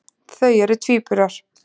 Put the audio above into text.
Þau eru tvíburar.